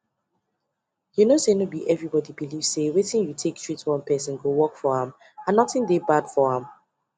you know sayno be everybody belief say wetin you take treat one person go work for am and nothing dey bad for am